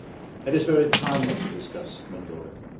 It is very timely to discuss Mongolia.